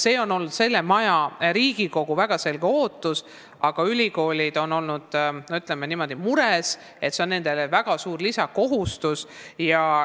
Seegi on olnud selle maja, Riigikogu, väga selge ootus, aga ülikoolid on mures, sest see on neile väga suur lisakohustus.